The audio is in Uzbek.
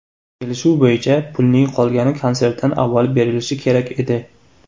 Kelishuv bo‘yicha, pulning qolgani konsertdan avval berilishi kerak edi.